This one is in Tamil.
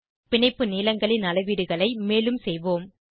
பிணைப்பு நீளங்களின் அளவீடுகளை மேலும் செய்வோம்